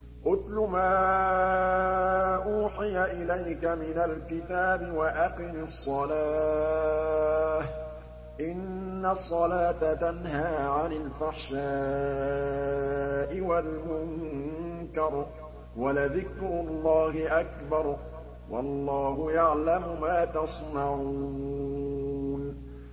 اتْلُ مَا أُوحِيَ إِلَيْكَ مِنَ الْكِتَابِ وَأَقِمِ الصَّلَاةَ ۖ إِنَّ الصَّلَاةَ تَنْهَىٰ عَنِ الْفَحْشَاءِ وَالْمُنكَرِ ۗ وَلَذِكْرُ اللَّهِ أَكْبَرُ ۗ وَاللَّهُ يَعْلَمُ مَا تَصْنَعُونَ